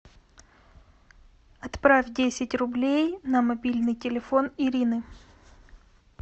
отправь десять рублей на мобильный телефон ирины